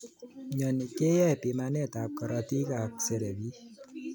Mnyeni keyae bimanet ab karotik ak seberik.